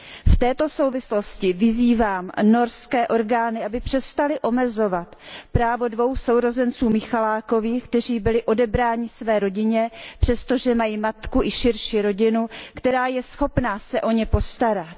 V této souvislosti vyzývám norské orgány, aby přestaly omezovat právo dvou sourozenců Michalakových, kteří byli odebráni své rodině přesto, že mají matku i širší rodinu, která je schopna se o ně postarat.